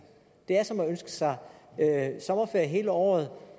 det er som at ønske sig sommerferie hele året